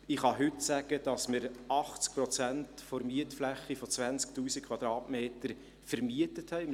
Heute kann ich sagen, dass wir 80 Prozent der Mietfläche von 20 000 Quadratmetern vermietet haben.